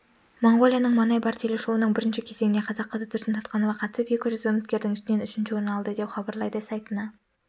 моңғолияның манай бэр телешоуының бірінші кезеңіне қазақ қызы тұрсын сатқанова қатысып екі жүз үміткердің ішінен үшінші орын алды деп хабарлайды сайтына